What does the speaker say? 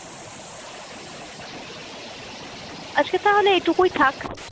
আজকে তাহলে এইটুকুই থাক।